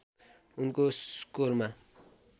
उनको स्कोरमा